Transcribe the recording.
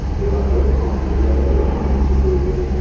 Levandovski bu borada ikkinchi bo‘ldi.